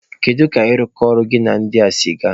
Kedu ka ịrụkọ ọrụ gị na ndị a si gaa?